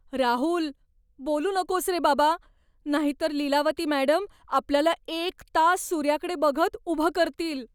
राहुल! बोलू नकोस रे बाबा, नाहीतर लीलावती मॅडम आपल्याला एक तास सूर्याकडे बघत उभं करतील.